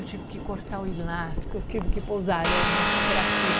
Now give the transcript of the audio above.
Eu tive que cortar o elástico, eu tive que pousar arame assim para cima.